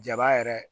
Jaba yɛrɛ